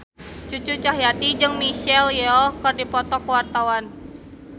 Cucu Cahyati jeung Michelle Yeoh keur dipoto ku wartawan